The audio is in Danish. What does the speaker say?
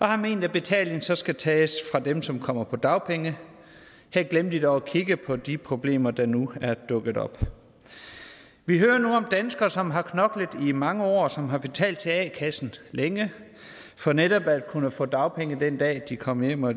har ment at betalingen så skal tages fra dem som kommer på dagpenge her glemte de dog at kigge på de problemer der nu er dukket op vi hører nu om danskere som har knoklet i mange år og som har betalt til a kassen længe for netop at kunne få dagpenge den dag de kom hjem og